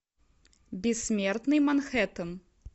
бессмертный манхэттен